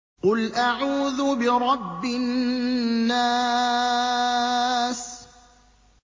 قُلْ أَعُوذُ بِرَبِّ النَّاسِ